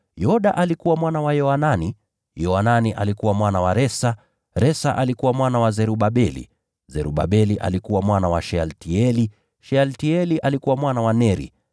Yoda alikuwa mwana wa Yoanani, Yoanani alikuwa mwana wa Resa, Resa alikuwa mwana wa Zerubabeli, Zerubabeli alikuwa mwana wa Shealtieli, Shealtieli alikuwa mwana wa Neri,